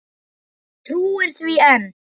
Trúir því enn.